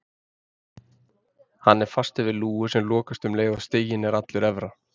Hann er fastur við lúgu sem lokast um leið og stiginn er allur efra.